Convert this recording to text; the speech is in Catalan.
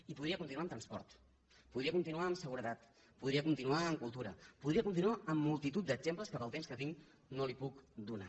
i podria continuar amb transport podria continuar amb seguretat podria continuar amb cultura podria continuar amb multitud d’exemples que pel temps que tinc no li puc donar